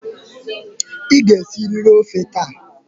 Ị ga-esiriri ọfe taa!